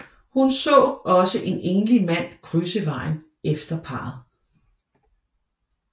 Hun så også en enlig mand krydse vejen efter parret